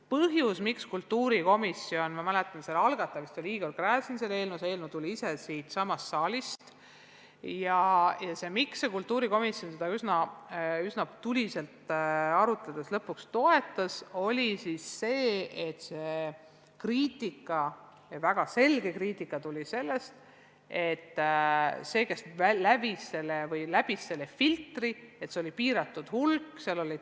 Põhjus, miks kultuurikomisjon – ma mäletan selle eelnõu algatamist, seal oli Igor Gräzin, eelnõu ise tuli siitsamast saalist – seda eelnõu üsna tuliselt arutledes lõpuks toetas, oli kriitika – ja väga selge kriitika –, mis tuli sellest, et filtri läbis piiratud hulk materjale.